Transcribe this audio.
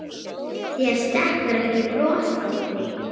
Þér stekkur ekki bros Árni.